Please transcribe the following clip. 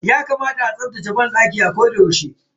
Yakamata a rika tsaftace banɗaki a koda yaushe.